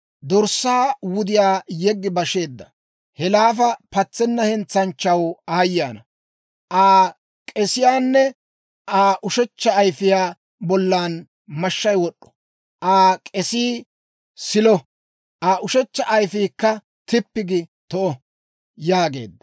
Dorssaa wudiyaa yeggi basheedda he laafa patsenna hentsanchchaw aayye ana! Aa k'esiyaanne Aa ushechcha ayfiyaa bollan mashshay wod'd'o. Aa k'esii silo; Aa ushechcha ayifiikka tippi giide to'o» yaageedda.